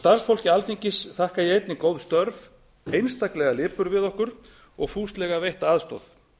starfsfólki alþingis þakka ég einnig góð störf einstaklega lipurð við okkur og fúslega veitta aðstoð